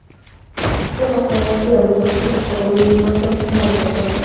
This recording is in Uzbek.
Bu haqda Rossiya Mudofaasini boshqaruvchi milliy markaz xabar berdi.